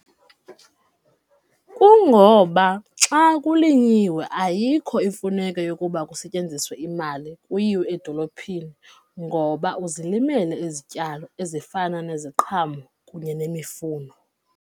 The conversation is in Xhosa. Kungoba xa kulinyiwe ayikho imfuneko yokuba kusetyenziswe imali kuyiwe edolophini ngoba uzilimele izityalo ezifana neziqhamo kunye nemifuno.